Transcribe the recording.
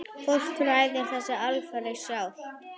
Fólk ræður þessu alfarið sjálft.